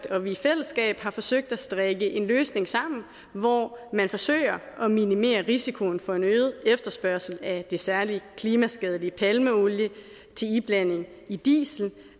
og vi i fællesskab har forsøgt at strikke en løsning sammen hvor man forsøger at minimere risikoen for en øget efterspørgsel af det særlig klimaskadelige palmeolie til iblanding i diesel